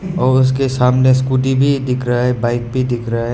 और उसके सामने स्कूटी भी दिख रहा है बाइक भी दिख रहा है।